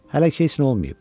Hələ ki heç nə olmayıb.